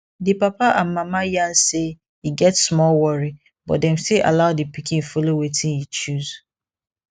di papa and mama yarn say e get small worry but dem still allow di pikin follow wetin e choose